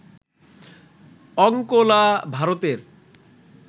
অঙ্কোলা ভারতের